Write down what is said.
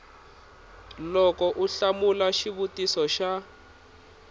loko u hlamula xivutiso xa